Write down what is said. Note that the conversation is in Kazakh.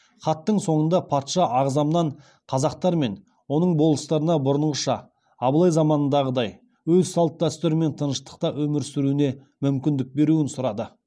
хаттың соңында патша ағзамнан қазақтар мен оның болыстарына бұрынғыша абылай заманындағыдай өз салт дәстүрімен тыныштықта өмір сүруіне мүмкіндік беруін сұрады